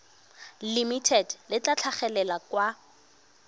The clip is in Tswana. limited le tla tlhagelela kwa